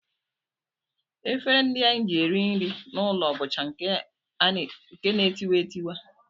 Efere ndị anyị ji eri nri n'ụlọ bụcha nke na-etiwa etiwa